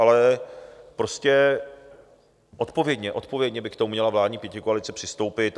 Ale prostě odpovědně - odpovědně - by k tomu měla vládní pětikoalice přistoupit.